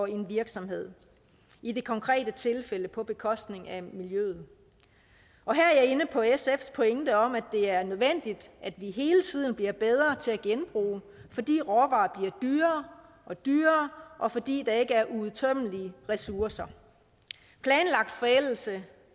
en virksomhed i det konkrete tilfælde på bekostning af miljøet og her er jeg inde på sfs pointe om at det er nødvendigt at vi hele tiden bliver bedre til at genbruge fordi råvarer bliver dyrere og dyrere og fordi der ikke er uudtømmelige ressourcer planlagt forældelse